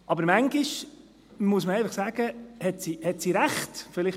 Aber manchmal muss man einfach sagen, dass sie recht hat.